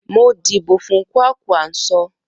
Mo díbò fún Kwankwanso.